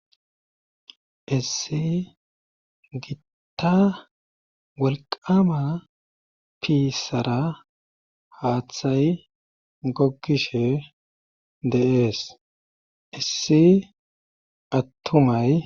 Issi gitta walqama piissara haaththay goggishe deees issi attumay